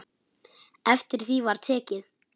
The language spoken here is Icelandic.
Eftir því var tekið.